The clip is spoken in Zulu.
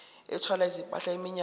ethwala izimpahla iminyaka